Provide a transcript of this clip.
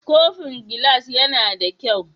Kofin gilas yAna da kyau?